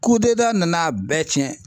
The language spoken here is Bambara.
Ko dɔ da nana a bɛɛ tiɲɛ